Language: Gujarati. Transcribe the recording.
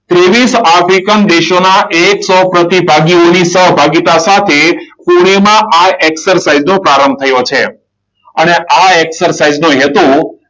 ત્રેવીસ આફ્રિકન દેશોના એક સો પ્રતિ ભાગ્યોની પ્રતિભાગીતા સાથે પૂર્ણ એમાં આ એક્સરસાઇઝ નો પ્રારંભ થયો છે. અને આ એક્સરસાઇઝ નો હેતુ